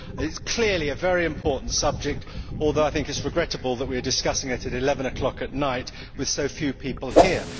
It is clearly a very important subject, although it is regrettable that we are discussing it at 11 o'clock at night with so few people here.